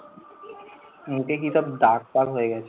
মুখে কি সব দাগ ফাগ হয়ে গাছে।